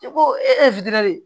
Ko e ye de ye